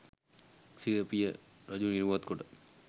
සිය පිය රජු නිරුවත් කොට